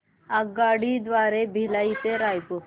आगगाडी द्वारे भिलाई ते रायपुर